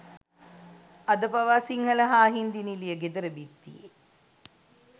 අද පවා සිංහල හා හින්දි නිළිය ගෙදර බිත්තියේ